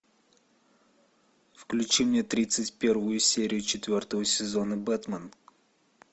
включи мне тридцать первую серию четвертого сезона бэтмен